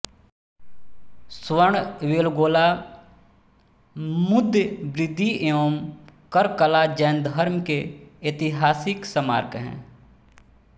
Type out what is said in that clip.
श्रवणबेलगोला मुदबिद्री एवं कर्कला जैन धर्म के ऐतिहासिक स्मारक हैं